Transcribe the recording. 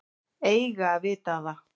Eiga að vita það.